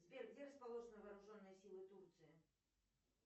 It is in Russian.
сбер где расположены вооруженные силы турции